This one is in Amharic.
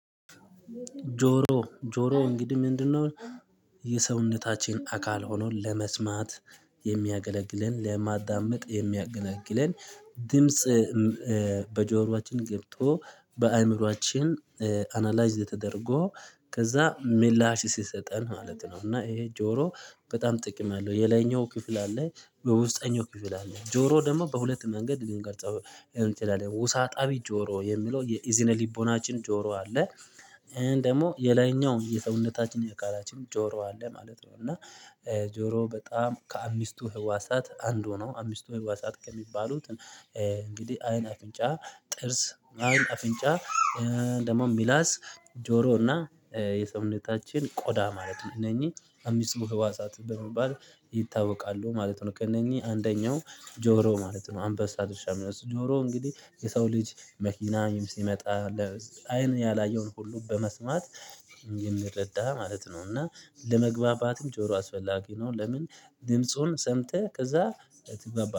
ጆሮ ጆሮ እንግዲህ ምንድነው? የሰውነታችን አካል ሆኖ ለመስማት የሚያገለግለን ለማዳመጥ የሚያገለግለን ድምጽ በጆሮአችን ገብቶ በአእምሮአችን አናላይዝ ተደርጎ ከዛ ምላሽ ሲሰጠን ማለት ነው። እና ይሄ ጆሮ በጣም ጥቅም አለው። የላይኛው ክፍል አለኝ በውስጠኛው ክፍል አለኝ ጆሮ ደግሞ በሁለት መንገድ ልንገልጸው እንችላለን። ውሳጣዊ ጆሮ የሚለው የኢዝነ ሊቦናችን ጆሮ አለ። ይሄን ደግሞ የላይኛው የሰውነታችን የቃላችን ጆሮ አለ ማለት ነው። እና ጆሮ በጣም ከአምስቱ ህዋሳት አንዱ ነው። አምስቱ ህዋሳት ከሚባሉት እንግዲህ አይን አፍንጫ ጥርስ አይን አፍንጫ ደግሞ ሚላስ ጆሮ እና የሰሙነታችን ቆዳ ማለት ነው። እነኚህ አመስቱ ህዋሳት በመባል ይታወቃሉ ማለት ነው። ከእነኚህ አንደኛው ጆሮ ማለት ነው። አንበሳ ድርሻ የሚወስድ ጆሮ እንግዲህ የሰው ልጅ መኪና ሲመጣ። አይን ያላየውን ሁሉ በመስማት የምረዳ ማለት ነው። እና ለመግባባትም ጆሮ አስፈላጊ ነው። ለምን ድምጹን ሰምተህ ከዛ ትግባባ